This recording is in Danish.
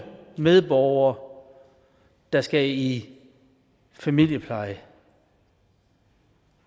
medborgere der skal i familiepleje